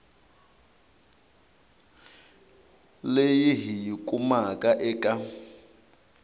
leyi hi yi kumaka eka